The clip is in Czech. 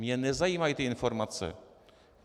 Mě nezajímají ty informace.